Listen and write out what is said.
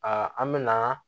an mɛna